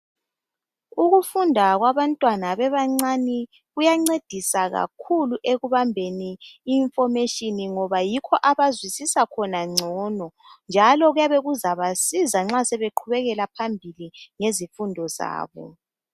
Ukufunda kwabantwana bebancane kuyancedisa kakhulu ekubambeni information ngoba yikho abazwisisa khona ngcono njalo kuyabe kuzabasiza nxa sebeqhubekela phambili ngezifundo zabo.